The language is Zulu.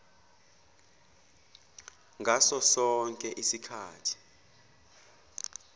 ngaso sonke isikhathi